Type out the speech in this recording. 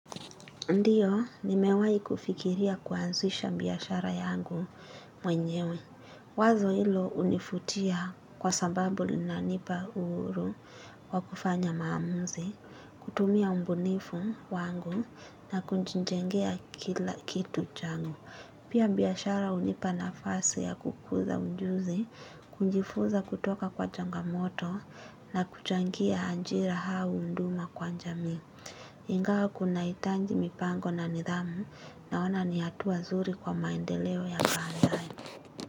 Ndiyo, nimewahi kufikiria kuanzisha biashara yangu mwenyewe. Wazo hilo hunivutia kwa sababu linanipa uhuru wa kufanya maamuzi, kutumia ubunifu wangu na kujijengea kila kitu changu. Pia biashara hunipa nafasi ya kukuza ujuzi, kujifunza kutoka kwa changamoto na kuchangia ajira au huduma kwa jamii. Ingawa kunahitaji mipango na nidhamu naona ni hatua nzuri kwa maendeleo ya baadaye.